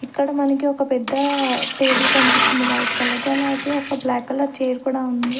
ఇక్కడ మనకి ఒక పెద్ద టేబుల్ కనిపిస్తుంది వైట్ కలర్ ది అలాగే ఒక బ్లాక్ కలర్ చైర్ కూడా ఉం--